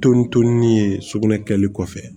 ye sugunɛ kɛli kɔfɛ